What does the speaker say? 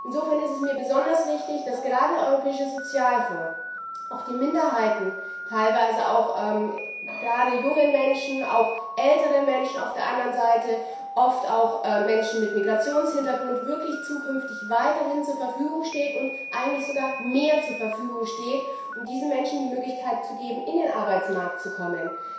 Insofern ist es mir besonders wichtig, dass gerade der Europäische Sozialfonds auch Minderheiten, teilweise auch gerade jungen Menschen, auf der anderen Seite auch älteren Menschen, oft auch Menschen mit Migrationshintergrund, künftig wirklich weiterhin zur Verfügung steht und eigentlich sogar mehr zur Verfügung steht, um diesen Menschen die Möglichkeit zu geben, in den Arbeitsmarkt zu kommen.